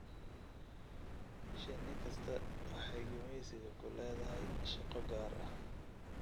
Shinni kasta waxay gumaysiga ku leedahay shaqo gaar ah.